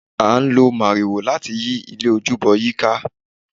a o lọ máríwoò lati yi ilé ojúbọ yi ka